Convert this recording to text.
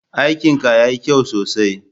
Aikin ka ya yi kyau sosai.